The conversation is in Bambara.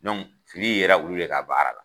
fili yera olu de ka baara la.